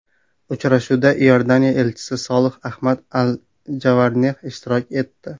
Uchrashuvda Iordaniya elchisi Solih Ahmad Al-Javarneh ishtirok etdi.